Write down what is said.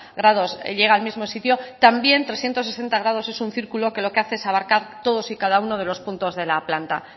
grados llega al mismo sitio también trescientos sesenta grados es un circulo que lo que hace es abarcar todos y cada uno de los puntos de la planta